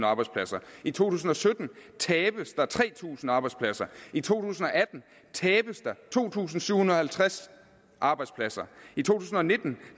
arbejdspladser i to tusind og sytten tabes der tre tusind arbejdspladser i to tusind og atten tabes der to tusind syv hundrede og halvtreds arbejdspladser i to tusind og nitten